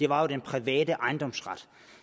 var den private ejendomsret